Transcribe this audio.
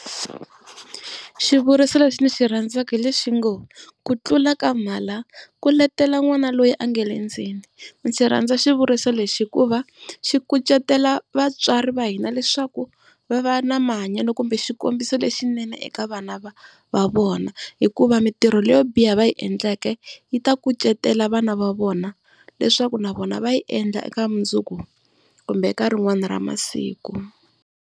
Xivuriso lexi ndzi xi rhandzaka hi lexi ngo, ku tlula ka mhala ku letela n'wana loyi a nga le ndzeni. Ndzi rhandza xivuriso lexi hikuva xi kucetelo vatswari va hina leswaku va va na mahanyelo kumbe xikombiso lexinene eka vana va vona. Hikuva mitirho leyo biha va yi endleke yi ta kucetela vana va vona leswaku na vona va yi endla eka mundzuku kumbe eka rin'wani ra masiku.